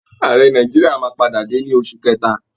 Àrẹ nàìjíríà máa padà dé ní oṣù kẹta